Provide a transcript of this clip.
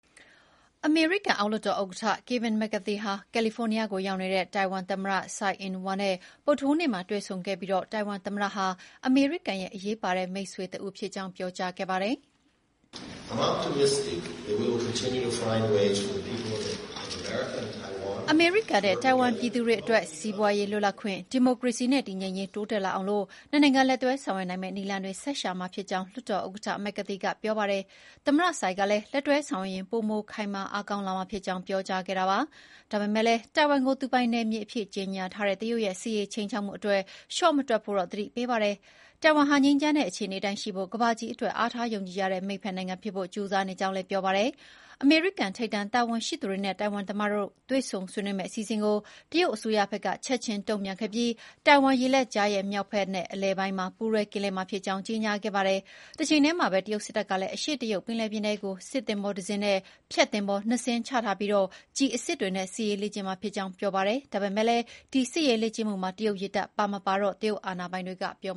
အမေရိကန်အောက်လွှတ်တော်ဥက္ကဋ္ဌ ကယ်ဗင် မက်ကာသီဟာ ကယ်လီဖိုးနီးယားကို ရောက်နေတဲ့ ထိုင်ဝမ်သမ္မတ ဆိုင်အင်းဝမ် (Tsai Ing-wen) နဲ့ ဗုဒ္ဓဟူးနေ့မှာ တွေ့ဆုံခဲ့ပြီး ထိုင်ဝမ်သမ္မတဟာ အမေရိကန်ရဲ့ အရေးပါတဲ့မိတ်ဆွေတဦးဖြစ်ကြောင်း ပြောကြားခဲ့ ပါတယ်။ အမေရိကန်နဲ့ထိုင်ဝမ်ပြည်သူတွေအတွက် စီးပွါးရေးလွတ်လပ်ခွင့်၊ ဒီမိုကရေစီနဲ့ တည်ငြိမ်ရေး တိုးတက်လာအောင် ၂ နိုင်ငံ လက်တွဲဆောင်ရွက်နိုင်မယ့်နည်းလမ်းတွေ ဆက်ရှာမှာဖြစ်ကြောင်း လွှတ်တော်ဥက္ကဋ္ဌက McCarthy က ပြောပါတယ်။ သမ္မတ Tsai ကလည်း လက်တွဲဆောင်ရွက်ရင် ပိုမိုအင်အားခိုင်မာလာမှာဖြစ်ကြောင်း ပြောကြားခဲ့တာပါ။ ဒါပေမယ့် တိုင်ဝမ်ကို သူပိုင်နယ်မြေအဖြစ်ကြေညာထားတဲ့ တရုတ်ရဲ့ စစ်ရေးခြိမ်းခြောက်မှုတွေအတွက် လျှော့မတွက်ဖို့တော့ သတိပေးပါတယ်။ ထိုင်ထိုင်ဝမ်ဟာ ငြိမ်းချမ်းတဲ့အခြေနေအတိုင်းရှိဖို့နဲ့ ကမ္ဘာကြီးအတွက် အားထားယုံကြည်ရတဲ့ မိတ်ဖက်နိုင်ငံဖြစ်ဖို့ ကြိုးစားနေကြောင်းလည်း ပြောပါတယ်။ အမေရိကန်ထိပ်တန်းတာဝန်ရှိသူတွေနဲ့ တိုင်ဝမ်သမ္မတတို့ တွေ့ဆုံဆွေးနွေးမယ့် အစီအစဉ်ကို တရုတ်အစိုးရဘက်ကလည်း ချက်ချင်းတုံ့ပြန်ခဲ့ပြီး ထိုင်ဝမ်ရေလက်ကြားရဲ့ မြောက်ဖက်- အလယ်ပိုင်းမှာ ပူးတွဲကင်းလှည့်မှာ ဖြစ်ကြောင်း ကြေညာခဲ့ပါတယ်။ တချိန်တည်းမှာပဲ တရုတ်စစ်တပ်ကလည်း အရှေ့တရုတ်ပင်လယ်ပြင်ထဲကို စစ်သင်္ဘောတစင်းနဲ့ ဖျက်သင်္ဘော ၂ စင်းချထားပြီး ကျည်အစစ်တွေနဲ့ စစ်ရေးလေ့ကျင့်မှာ ဖြစ်ကြောင်း ပြောပါတယ်။ ဒါပေမယ့် ဒီစစ်ရေးလေ့ကျင့်မှုမှာ တရုတ်ရေတပ်ပါမပါတော့ တရုတ်အာဏာပိုင်တွေကမပြော